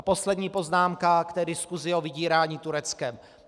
A poslední poznámka k té diskusi o vydírání Tureckem.